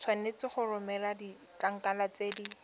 tshwanetse go romela ditlankana tse